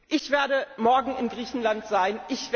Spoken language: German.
Ich werde morgen in Griechenland sein.